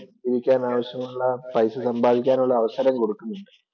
ജീവിക്കാനാവശ്യമുള്ള പൈസ സമ്പാദിക്കാന്‍ ഉള്ള അവസരം കൊടുക്കുന്നുണ്ട്.